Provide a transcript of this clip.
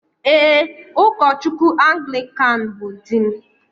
Ee, ụkọchukwu Anglikan bụ di m